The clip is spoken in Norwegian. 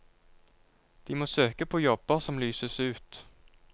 De må søke på jobber som lyses ut.